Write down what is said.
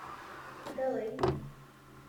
дэлэй